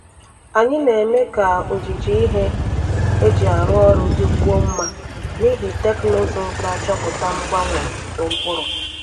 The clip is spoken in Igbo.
Anyị na-eme ka ojiji ihe eji arụ ọrụ dịkwuo mma n’ihi teknụzụ na-achọpụta mgbanwe uto mkpụrụ.